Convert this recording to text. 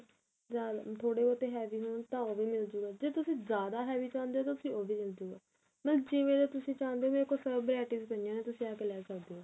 ਜਾਂ ਥੋੜੇ ਬਹੁਤ heavy ਹੋਣ ਤਾਂ ਉਹ ਵੀ ਮਿਲਜੂਗਾ ਜੇ ਤੁਸੀਂ ਜਿਆਦਾ heavy ਚਾਉਂਦੇ ਤਾਂ ਉਹ ਵੀ ਮਿਲਜੂਗਾ ਜਿਵੇਂ ਦਾ ਤੁਸੀਂ ਚਾਉਂਦੇ ਓ ਮੇਰੇ ਕੋਲ ਸਭ varieties ਪਈਆਂ ਨੇ ਤੁਸੀਂ ਆ ਕੇ ਲੈ ਸਕਦੇ ਓ